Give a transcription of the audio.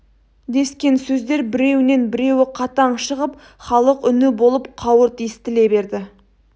дескен сөздер біреуінен біреуі қатаң шығып халық үні болып қауырт естіле берді